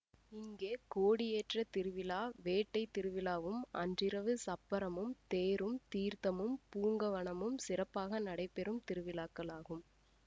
இங்கே கோடியேற்ற திருவிழா வேட்டை திருவிழாவும் அன்றிரவு சப்பரமும் தேரும் தீர்த்தமும் பூங்கவனமும் சிறப்பாக நடைபெறும் திருவிழாக்களாகும்